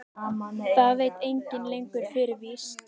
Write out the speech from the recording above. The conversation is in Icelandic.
Það veit enginn lengur fyrir víst.